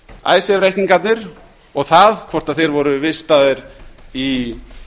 að icesave reikningarnir og það hvort þeir voru vistaðir í